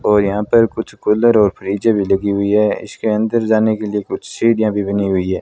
और यहां पर कुछ कूलर और फ्रिज भी लगी हुई है इसके अंदर जाने के लिए कुछ सीढ़ियां भी बनी हुई है।